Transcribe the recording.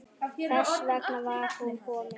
Þess vegna var hún komin.